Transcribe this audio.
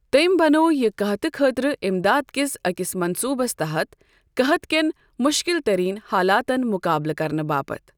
تٔمۍ بَنوو یہِ قحطہٕ خٲطرٕ اِمداد کِس أکِس منٛصوٗبس تحت قحط کیٚن مُشکِل تٔریٖن حالاتن مُقابلہ کرنہٕ باپت ۔